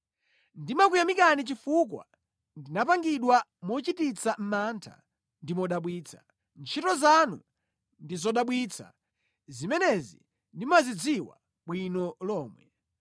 Ndimakuyamikani chifukwa ndinapangidwa mochititsa mantha ndi modabwitsa; ntchito zanu ndi zodabwitsa, zimenezi ndimazidziwa bwino lomwe.